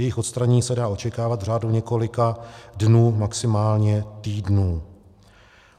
Jejich odstranění se dá očekávat v řádu několika dnů, maximálně týdnů.